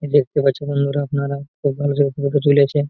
দেখতে পাচ্ছেন বন্ধুরা আপনারা খুব ভালো যত্ন করে তুলেছে--